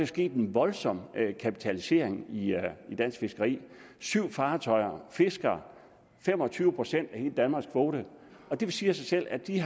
sket en voldsom kapitalisering i i dansk fiskeri syv fartøjer fisker fem og tyve procent af hele danmarks kvote og det siger sig selv at de